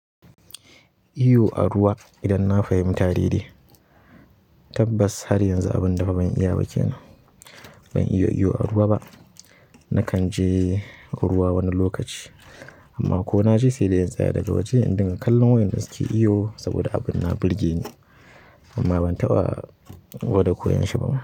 Iyo a ruwa idan na fahimta dai-dai, tabbas har yanzu abun dafa ban iya ba kena. Ban iya iyo a ruwa ba. Nakan je ruwa wani lokaci amma ko na je sai da in tsaya daga waje idinga kallon wayanda suke iyo saboda abin na burge ni amma ban taɓa gwada koyon shi ba.